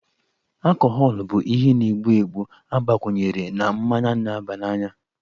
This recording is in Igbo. Akọhọlụ bụ ihe na-egbu egbu agbakwunyere na mmanya na-abananya